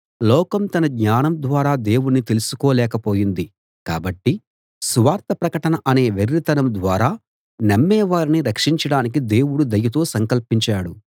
లోకం తన జ్ఞానం ద్వారా దేవుణ్ణి తెలుసుకోలేక పోయింది కాబట్టి సువార్త ప్రకటన అనే వెర్రితనం ద్వారా నమ్మేవారిని రక్షించడానికి దేవుడు దయతో సంకల్పించాడు